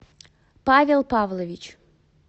павел павлович